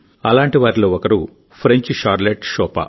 అలాంటి ఒక French Charlotte షోపా